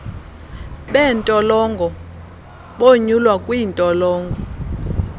beentolongo bonyulwa kwiintolongo